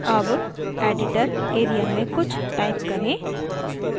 अब editor area में कुछ type करें